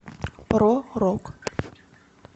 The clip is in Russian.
про рок